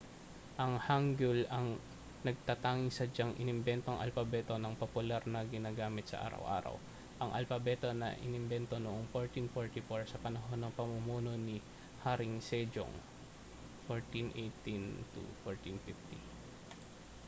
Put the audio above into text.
ang hangeul ang natatanging sadyang inimbentong alpabeto na popular na ginagamit sa araw-araw. ang alpabeto ay inimbento noong 1444 sa panahon ng pamumuno ni haring sejong 1418 â€ 1450